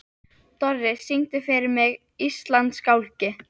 Dorri, syngdu fyrir mig „Íslandsgálgi“.